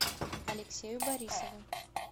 алексею борисову